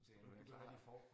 Skal du være klar